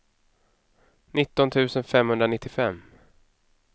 nitton tusen femhundranittiofem